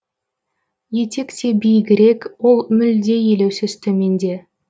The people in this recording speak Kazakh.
етек те биігірек ол мүлде елеусіз төменде